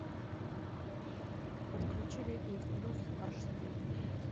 подключи летний блюз аш ди